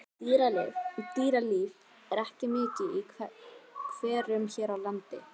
Dýralíf er ekki mikið í hverum hér á landi.